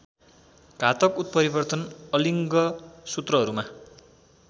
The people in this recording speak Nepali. घातक उत्परिवर्तन अलिङ्गसूत्रहरूमा